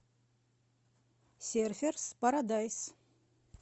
серферс парадайс